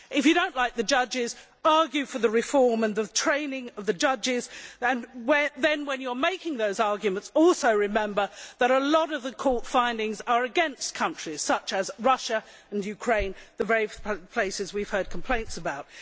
If you do not like the judges, argue for the reform and training of the judges, and then when you are making those arguments, also remember that a lot of court findings are against countries such as Russia and Ukraine, the very places we have heard complaints about.